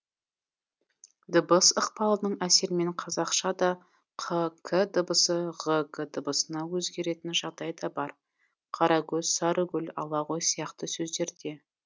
дыбыс ықпалының әсерімен қазақшада қ к дыбысы ғ г дыбысына өзгеретін жағдай да бар қарагөз сарыгөл ала ғой сияқты сөздерде